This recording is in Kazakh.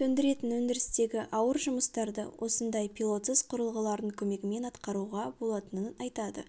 төндіретін өндірістегі ауыр жұмыстарды осындай пилотсыз құрылғылардың көмегімен атқаруға болатынын айтады